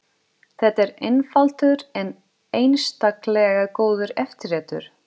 Þetta er einfaldur en einstaklega góður eftirréttur.